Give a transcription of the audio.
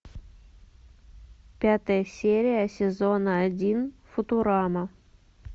пятая серия сезона один футурама